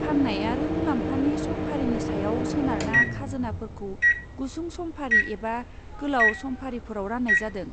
फान्नाय आरो मुलाम्फानि समफारिनि सायाव सोनारना खाजोनाफोरखौ गुसुं समफारि एबा गोलाव समफारिफोराव रान्नाय जादों।